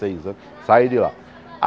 Seis anos saí de lá.